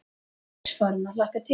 Strax farin að hlakka til.